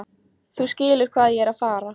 Þú skilur hvað ég er að fara.